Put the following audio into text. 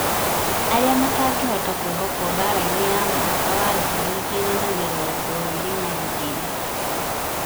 arĩa matangĩhota kwĩhokwo mbaarainĩ ya mwaka wa ngiri igĩrĩ na mĩrongo ĩrĩ na igĩrĩ.